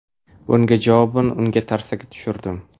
Bunga javoban unga tarsaki tushirdim.